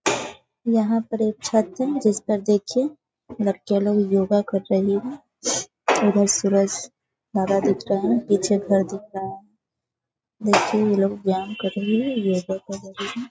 यहाँ पर एक छत है जिस पर देखिये बच्चा लोग योग कर रहें हैं। उधर सूरज दादा दिख रहा है पीछे घर दिख रहा है। देखिये ये लोग व्यायाम कर रहें हैं। ये लोग का ।